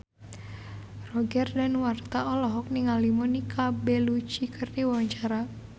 Roger Danuarta olohok ningali Monica Belluci keur diwawancara